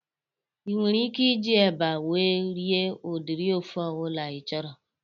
Ị nwere ike iji eba wee rie udiri ofe ọbụla ị chọrọ